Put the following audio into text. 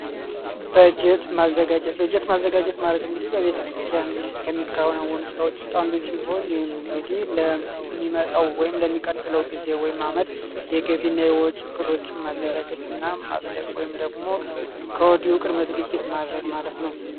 በጀት ማዘጋጀት በጀት ማዘጋጀት ማለት እንግዲ በቤተክርስቲያን የመንገዴ ለሚመጣው ወይም ለሚቀጥለው ጊዜ ወይም አመት የገቢና ወጪ እቅዶችም ማዘጋጀና ማዘደቁ ወይም ደግሞ ከወዲሁ ዝግጅት ማድረግ ማለት ነው